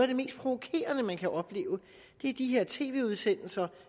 det mest provokerende man kan opleve er de her tv udsendelser